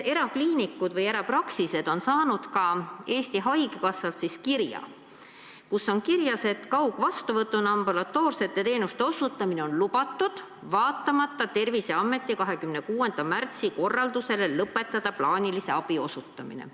Erakliinikud või erapraksised on saanud ka Eesti Haigekassalt kirja, kus on öeldud, et kaugvastuvõtuna ambulatoorsete teenuste osutamine on lubatud, vaatamata Terviseameti 26. märtsi korraldusele lõpetada plaanilise abi osutamine.